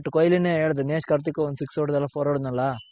but ಕೊಹ್ಲಿನೆ ಹೇಳದ್ ದಿನೇಶ್ ಕಾರ್ತಿಕ್ ಒಂದ್ six ಹೊಡೆದ್ನಲ್ಲ four ಹೊಡೆದ್ನಲ್ಲ